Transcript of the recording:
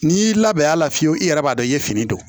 N'i y'i labɛn a la fiyewu i yɛrɛ b'a dɔn i ye fini don